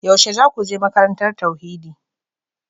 Yaushe za ku je makarantar tauhidi?